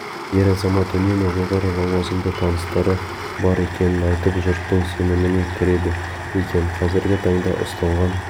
ер азамат үнемі жоғары лауазымды таныстары бар екенін айтып жұрттың сеніміне кіреді екен қазіргі таңда ұсталған